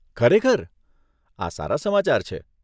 ખરેખર? આ સારા સમાચાર છે.